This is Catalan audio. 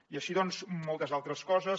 i així moltes altres coses